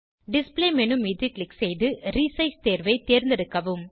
display menu மீது click செய்து resize தேர்வை தேர்ந்தெடுக்கவும்